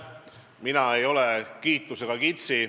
Mina ei ole kiitusega kitsi.